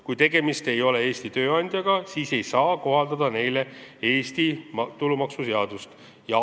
Kui tegemist ei ole Eesti tööandjaga, siis ei saa talle Eesti tulumaksuseadust kohaldada.